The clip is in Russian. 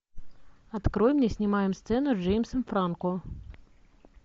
открой мне снимаем сцену с джеймсом франко